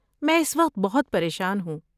میں اس وقت بہت پریشان ہوں۔